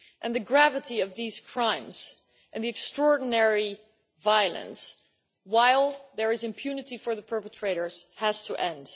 The gravity of these crimes and the extraordinary violence, while there is impunity for the perpetrators, has to end.